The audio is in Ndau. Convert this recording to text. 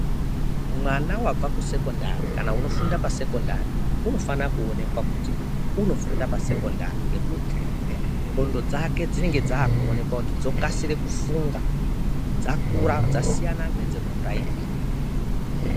Mwana wabva ku secondary kana unofunda pa seondari unofano kuonekwa kuti unofunda pa sekondari ngekuti ndxondo dzake dzinonga dzakuoneka kuti dzokasire kufunga dzakura dzasiyana nedzeku puraimari.